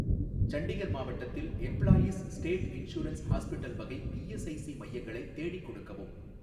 சண்டிகர் மாவட்டத்தில் employees state insurance hospital வகை ESIC மையங்களை தேடிக் கொடுக்கவும்